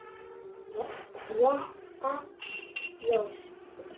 Gréta fóstur.